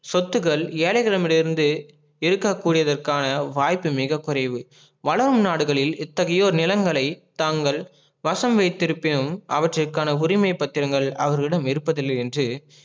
சொத்துகள் ஏழைகளிடமிருந்து இருக்கக்கூடியாதற்கான வாய்ப்பு மிக குறைவு வளரும் நாடுகளில் எத்தகையோர் நிலங்களை தாங்கள் வசம் வைத்திருபினும் அவற்றிருக்கான உரிமை பத்திரங்கள் அவர்களிடம் இருப்பதில் இல்லை என்று